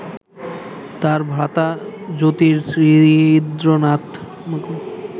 তাঁর ভ্রাতা জ্যোতিরিন্দ্রনাথ